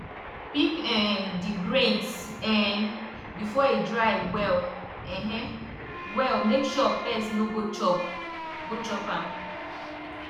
pick um di grains um before e dry well um well make sure pest no go chop go chop am